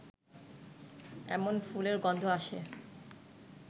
এমন ফুলের গন্ধ আসে